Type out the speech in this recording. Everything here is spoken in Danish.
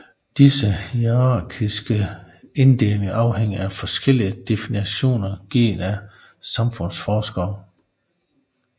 Disse hierarkiske inddelinger afhænger af forskellige definitioner givet af samfundsforskere